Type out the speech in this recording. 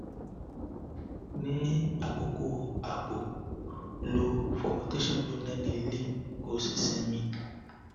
ni akoko abo lo fomentation gbona ni ile ko si simi